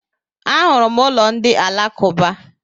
A hụrụ m ụlọ ndị Alakuba.